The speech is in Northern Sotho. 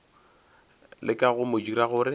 leka go mo dira gore